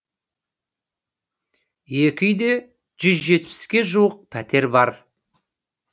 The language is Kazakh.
екә үйде жүз жетпіске жуық пәтер бар